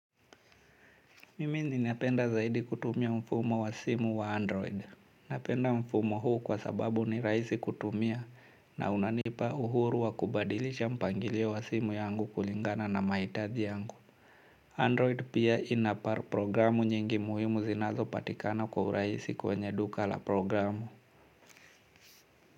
Mimi ninapenda zaidi kutumia mfumo wa simu wa android. Napenda mfumo huu kwa sababu ni rahisi kutumia na unanipa uhuru wa kubadilisha mpangilio wa simu yangu kulingana na mahitaji yangu. Android pia ina programu nyingi muhimu zinazo patikana kwa rahisi kwenye duka la programu.